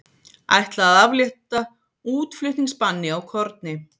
Ætla að aflétta útflutningsbanni á korni